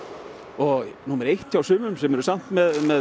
og númer eitt hjá sumum sem eru samt með